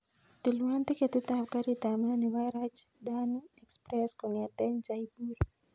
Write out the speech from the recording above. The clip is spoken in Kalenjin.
Tilwan tiketit ab garit ab maat nebo rajdhani express kongeten jaipur